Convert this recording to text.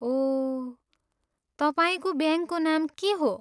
ओह, तपाईँको ब्याङ्कको नाम के हो?